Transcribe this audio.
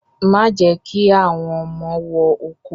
Má jẹ́ kí àwọn ọmọ wọ oko